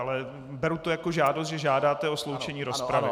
Ale beru to jako žádost, že žádáte o sloučení rozpravy.